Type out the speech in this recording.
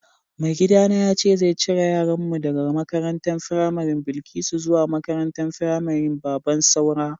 Mai gida na yace zai cire yaran mu daga makarantan firamarin Bilkisu zuwa makarantan firamarin Babban Saura.